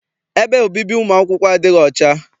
Ebe obibi ụmụ akwụkwọ adịghị ọcha.